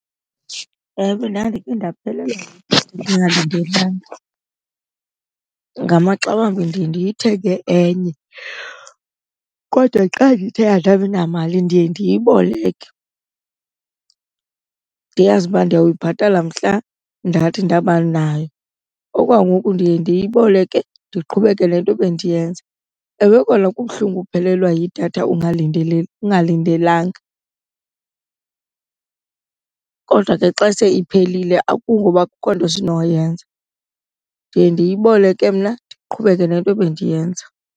Ewe, ndandike ndaphelelwa ndingalindelanga. Ngamaxa wambi ndiye ndithenge enye kodwa xa ndithe andabi namali ndiye ndiyiboleke ndiyazi uba ndiya kuyibhatala mhla ndathi ndabanayo. Okwangoku ndiye ndiyiboleke ndiqhubeke nento bendiyenza. Ewe, kona kubuhlungu ukuphelelwa yidatha ungalindelanga kodwa ke xa se iphelile akungoba akukho nto sinoyenza. Ndiye ndiyiboleke mna ndiqhubeke nento ebendiyenza.